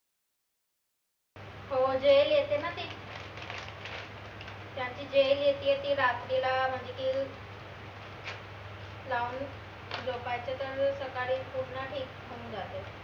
हो gel येते ना ते जे gel येती ए न ती gel रात्रीला म्हनजे की लावून झोपायचं त सकाडी पूर्ण ठीक होऊन जाते